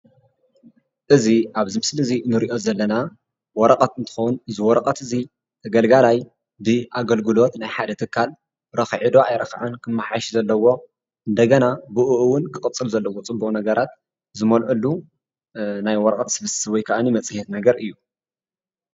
እዚ ኣብዚ ምስሊ እዚ ንሪኦ ዘለና ወረቐት እንትኾን እዚ ወረቐት እዚ ተገልጋላይ ብኣገልግሎት ናይ ሓደ ትካል ረኺዑ ዶ ኣይረኽዐን ክመሓየሽ ዘለዎ እንደገና ብኡኡ እውን ክቕፅል ዘለዎ ፅቡቕ ነገራት ዝመልአሉ ናይ ወረቐት ስብስብ ወይ ከዓኒ መፅሄት ነገር እዩ፡፡